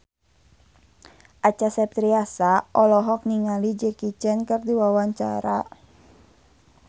Acha Septriasa olohok ningali Jackie Chan keur diwawancara